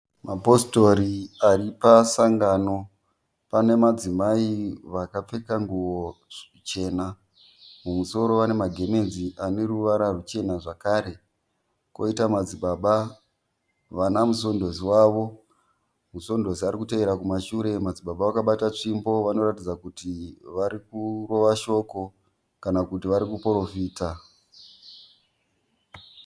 Mapositori aripasangano. Pane madzimai akapfeka nguwo chena. Mumusoro vane magemenzi aneruvara ruchena zvakare. Poitawo madzibaba vana musondosi wavo. Musondosi arikutevera nechekumashure madzibaba vakabata tsvimbo. Madzibaba varikuratidza kuti varikurova shoko kana kuti varikuporofita.